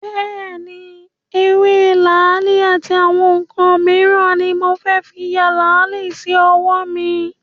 Bẹ́ẹ̀ni, ewé làálì àti àwọn ǹǹkan míràn ni mo fẹ́ fí ya làálì sí ọwọ́ mi